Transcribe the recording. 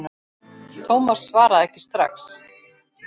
Thomas svaraði ekki strax.